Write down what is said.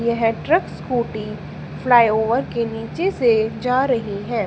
यह truck scooty flyover के नीचे से जा रही है।